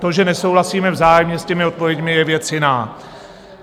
To, že nesouhlasíme vzájemně s těmi odpověďmi, je věc jiná.